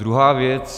Druhá věc.